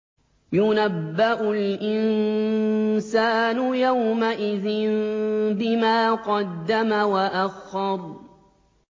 يُنَبَّأُ الْإِنسَانُ يَوْمَئِذٍ بِمَا قَدَّمَ وَأَخَّرَ